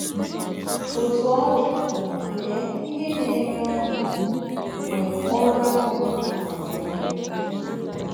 Otú ọ dị, lee ihe na - enye ọṅụ bụ mgbe ọrụ ahụ rụpụtara ihe!